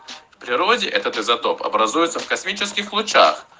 в природе этот изотоп образуется в космических лучах